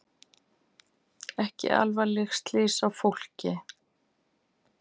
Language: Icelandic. Ekki alvarleg slys á fólki